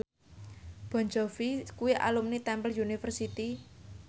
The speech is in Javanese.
Jon Bon Jovi kuwi alumni Temple University